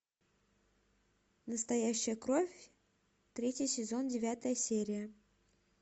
настоящая кровь третий сезон девятая серия